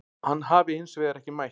Hann hafi hins vegar ekki mætt